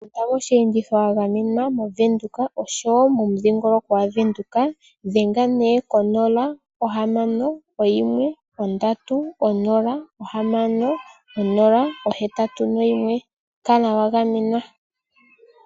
Enda moshiyenditho wagamenwa moVenduka oshowo mo mudhingoloko gwa Venduka Dhenga koonomola 061306081. kala wa gamenwa.